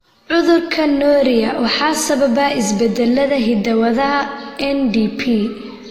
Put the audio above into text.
Cudurka Norrie waxaa sababa isbeddellada hidda-wadaha NDP.